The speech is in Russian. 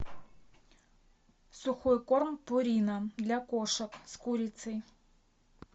сухой корм пурина для кошек с курицей